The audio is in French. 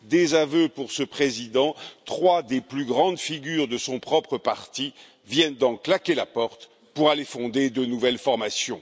désaveu pour ce président, trois des plus grandes figures de son propre parti viennent d'en claquer la porte pour aller fonder de nouvelles formations.